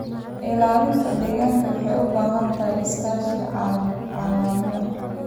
Ilaalinta deegaanka waxay u baahan tahay iskaashi caalami ah.